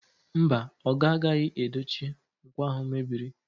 Mba, oga agaghị edochi nkwọ ahụ mebiri.